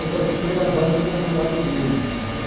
Eu participei da banca doutorado dele, está certo?